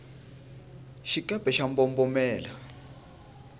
xikepe xa mbombomela